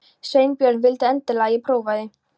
Sveinbjörn vildi endilega að ég prófaði.